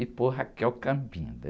e pôr.